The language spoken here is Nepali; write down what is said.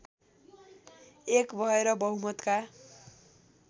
एक भएर बहुमतका